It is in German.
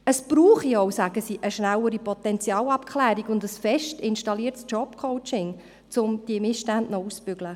Es brauche auch, sagen sie, eine schnellere Potenzialabklärung und ein fest installiertes Jobcoaching, um diese Missstände auszubügeln.